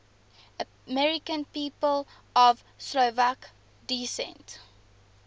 american people of slovak descent